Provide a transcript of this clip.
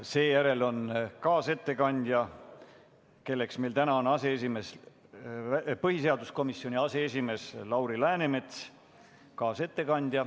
Seejärel on kaasettekandja, kelleks täna on põhiseaduskomisjoni aseesimees Lauri Läänemets, kaasettekanne.